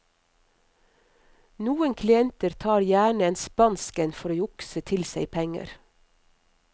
Noen klienter tar gjerne en spansk en for å jukse til seg penger.